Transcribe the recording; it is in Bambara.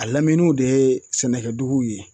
A laminiw de ye sɛnɛkɛduguw ye